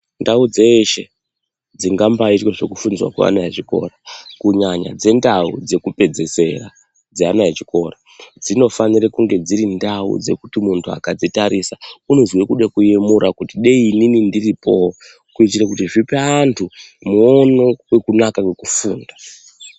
Ndau dzeshe dzingambaitwe zvekufundiswa kweana echikora kunyanya dzendau dzekupedzisira dzeana echikora, dzinofanire kunge dziri ndau dzekuti muntu akadzitarisa unozwe kude kuemura kuti dai inini ndiripowo kuitira kuti zvipe antu muono wekunaka kwekufunda.